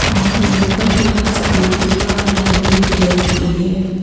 और yoga class की दीवार हरे कलर की है ।